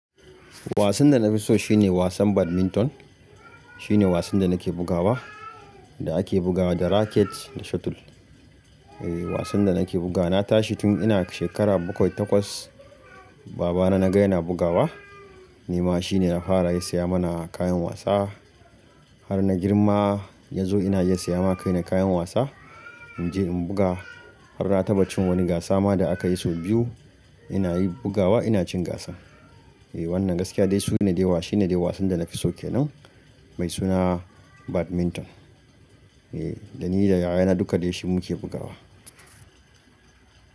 Wasan da na fi so shine wasan badminton. Shine wasan da nake bugawa da ake bugawa da racket da shuttle. Eh, wasan da nake buga na tashi tun ina shekara bakwai takwas. Baba na naga yana bugawa ni ma shine ya fara ya siya mana kayan wasa. Har na girma ya zo ina ya saya ma kaina kayan wasa. In je in buga har na taɓa cin wani gasa ma da aka yi sau biyu. Ina yi bugawa, ina cin gasa. Eh wannan gaskiya dai shine dai wasan da nafi so kenan mai suna badminton. Eh da ni da yaya na duka dai shi muke bugawa.